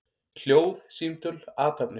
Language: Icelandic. Hljóð, símtöl, athafnir.